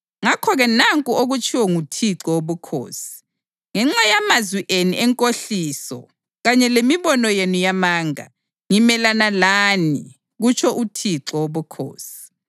Ngakho-ke nanku okutshiwo nguThixo Wobukhosi: Ngenxa yamazwi enu enkohliso kanye lemibono yenu yamanga, ngimelana lani, kutsho uThixo Wobukhosi.